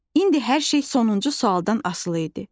İndi hər şey sonuncu sualdan asılı idi.